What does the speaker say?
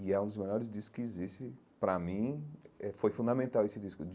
E é um dos maiores discos que existe, pra mim, eh foi fundamental esse disco.